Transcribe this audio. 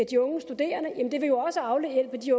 de unge studerende og det vil jo også afhjælpe de